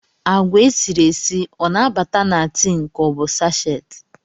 Agwa esiri esi o na-abata na tin ka ọ bụ sachet